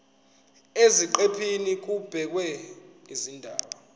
eziqephini kubhekwe izindaba